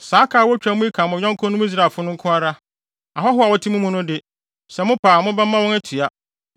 Saa ka a wotwa mu yi ka mo yɔnkonom Israelfo no nko ara. Ahɔho a wɔte mo mu no de, sɛ mopɛ a mobɛma wɔn atua.